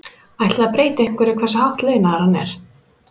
Ætli það breyti einhverju hversu hátt launaður hann er?